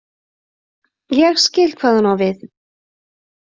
Ég skil hvað hún á við.